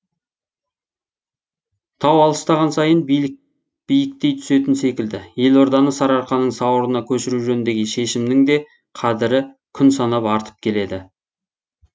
тау алыстаған сайын биіктей түсетін секілді елорданы сарыарқаның сауырына көшіру жөніндегі шешімнің де қадірі күн санап артып келеді